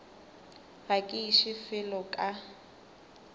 ga ke iše felo ka